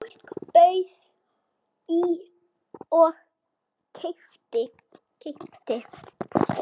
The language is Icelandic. Fólk bauð í og keypti.